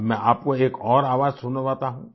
अब मैं आपको एक और आवाज सुनवाता हूं